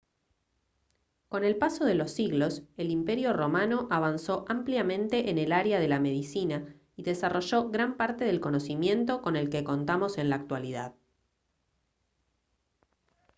con el paso de los siglos el imperio romano avanzó ampliamente en el área de la medicina y desarrolló gran parte del conocimiento con el que contamos en la actualidad